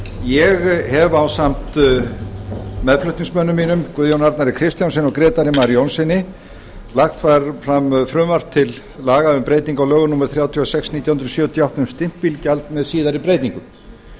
ég hef ásamt meðflutningsmönnum mínum guðjóni arnar kristjánssyni og grétari mar jónssyni lagt fram frumvarpi til laga um breyting á lögum númer þrjátíu og sex nítján hundruð sjötíu og átta um stimpilgjald með síðari breytingum